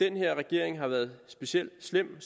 her regering har været specielt slem